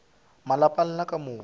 malapa a lena ka moka